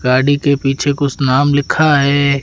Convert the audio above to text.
गाड़ी के पीछे कुछ नाम लिखा है।